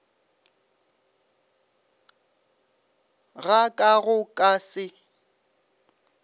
ga ka go ka se